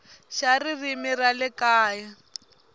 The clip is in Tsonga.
xa ririmi ra le kaya